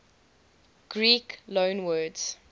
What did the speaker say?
greek loanwords